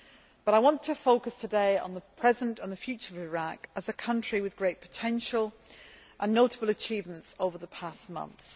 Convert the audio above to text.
But I want to focus today on the present and the future of Iraq, as a country with great potential and notable achievements over the past months.